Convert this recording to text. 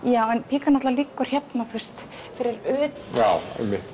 píkan náttúrulega liggur hérna fyrir utan já einmitt